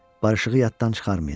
barışığı yaddan çıxarmayın.